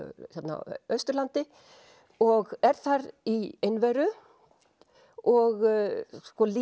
á Austurlandi og er þar í einveru og sko líf